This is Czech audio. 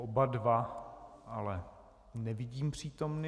Oba dva ale nevidím přítomny.